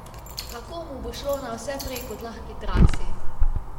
Kako mu bo šlo na vse prej kot lahki trasi?